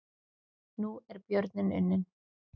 Nú er björninn unninn